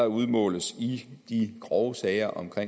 udmåles i de grove sager om